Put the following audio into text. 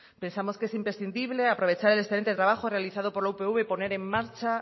pensamos que es imprescindible aprovechar el excelente trabajo realizado por la upv y poner en marcha